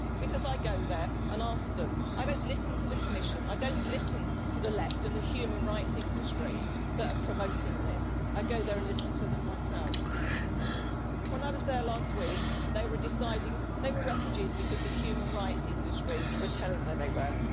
Because I go there and ask them I do not listen to the Commission, I do not listen to the left and the human rights industry that are promoting this I go there and listen to them myself. When I was there last week, they were deciding they were refugees because the human rights industry was telling them they were.